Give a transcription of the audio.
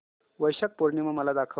वैशाख पूर्णिमा मला दाखव